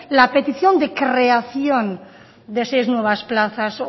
la petición de creación de seis nuevas plazas